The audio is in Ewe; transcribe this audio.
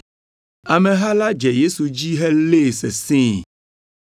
Ameha la dze Yesu dzi helée sesĩe.